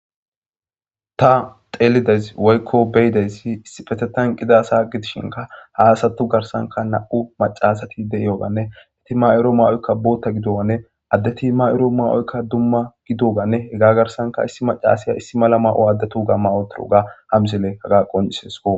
ta xeelidaysi woykko beydeysi issipetetan qidasa gidishinka haasattu garsanka na7u macasati de7yyoganne heti ma7oro mawoykka bootta gidowane addeti mayro ma7oykka dumma gidoganne hega garsanka issi macasiya issi mala ma7o addetu ga mawotoro ga hamzile haga qonisesko